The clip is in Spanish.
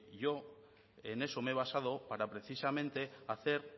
yo en eso me he basado para precisamente hacer